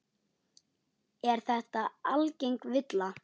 Er þetta algeng villa.